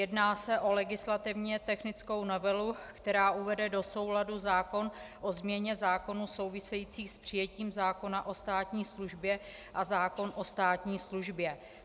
Jedná se o legislativně technickou novelu, která uvede do souladu zákon o změně zákonů souvisejících s přijetím zákona o státní službě a zákon o státní službě.